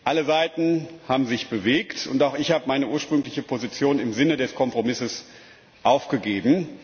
Alle Seiten haben sich bewegt, und auch ich habe meine ursprüngliche Position im Sinne des Kompromisses aufgegeben.